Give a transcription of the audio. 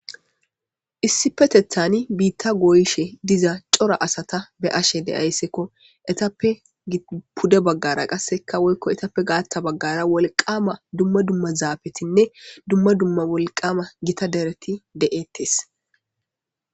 issi petethani biitta gooyshe diza cora asata be ashe de ayssekko etappe pude baggara qasseka woykko etappe gaatta baggara wolqama dumma dumma zaabetinne dumma dumma wolqama gita dereti de7ettes